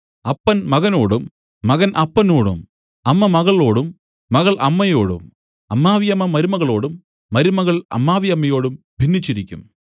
അപ്പൻ മകനോടും മകൻ അപ്പനോടും അമ്മ മകളോടും മകൾ അമ്മയോടും അമ്മാവിയമ്മ മരുമകളോടും മരുമകൾ അമ്മാവിയമ്മയോടും ഭിന്നിച്ചിരിക്കും